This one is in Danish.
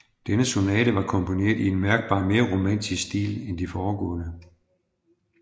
Denne sonate var komponeret i en mærkbart mere romantisk stil end de foregående